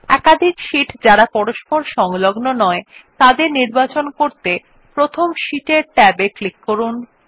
একাধিক শীট যারা পরস্পর সংলগ্ন নয় তাদের নির্বাচন করতে প্রথম শীট er ট্যাব এ ক্লিক করুন